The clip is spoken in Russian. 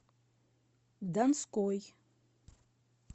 донской